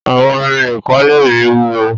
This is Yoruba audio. àwon Irin ikole mí wúwo.